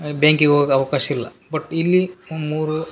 banking ಹೋಗಾಕ್ ಅವ್ಕಾಶ್ ಇಲ್ಲ ಬಟ್ ಇಲ್ಲಿ ಮೂರು --